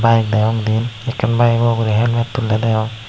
ak dagi onde akkan bayego ugorey helmet tulley degong.